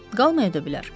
Qalmaya da bilər.